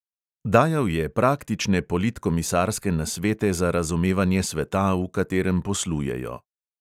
Dajal je praktične politkomisarske nasvete za razumevanje sveta, v katerem poslujejo.